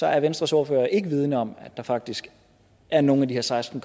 er venstres ordfører ikke vidende om at der faktisk er nogen af de her seksten